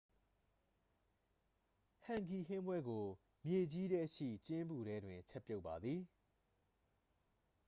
ဟန်ဂီဟင်းပွဲကို မြေကြီးထဲရှိကျင်းပူထဲတွင် ချက်ပြုတ်ပါသည်